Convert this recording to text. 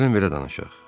Gəlin belə danışaq.